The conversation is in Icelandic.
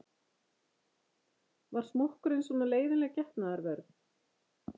Var smokkurinn svona leiðinleg getnaðarvörn?